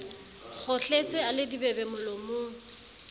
kgohletse a le dibebe molomong